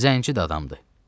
Zənci də adamdır.